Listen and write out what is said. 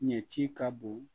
Ɲɛci ka bon